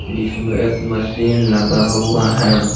जिसमें एक मशीन लगा हुआ है।